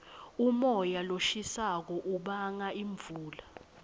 umoya loshisako ubanga imvula